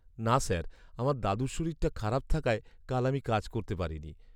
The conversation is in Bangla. না স্যার, আমার দাদুর শরীরটা খারাপ থাকায় কাল আমি কাজ করতে পারিনি।